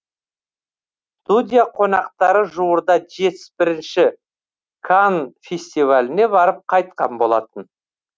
студия қонақтары жуырда жетпіс бірінші канн фестиваліне барып қайтқан болатын